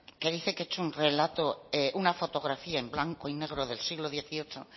que dice que he hecho un relato una fotografía en blanco y negro del siglo dieciocho